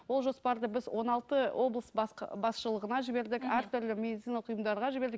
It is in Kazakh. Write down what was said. ол жоспарды біз он алты облыс басшылығына жібердік әртүрлі медициналық ұйымдарға жібердік